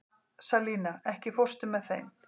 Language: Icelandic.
Salína, ekki fórstu með þeim?